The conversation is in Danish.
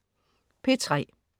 P3: